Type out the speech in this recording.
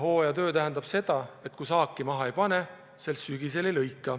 See omakorda tähendab, et kui kevadel midagi maha ei pane, siis sügisel ka saaki ei lõika.